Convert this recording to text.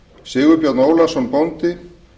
sigurbjörn ólason bóndi